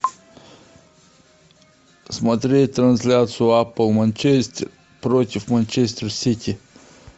смотреть трансляцию апл манчестер против манчестер сити